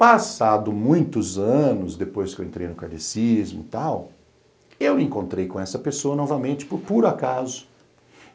Passado muitos anos, depois que eu entrei no kardecismo e tal, eu encontrei com essa pessoa novamente, por acaso.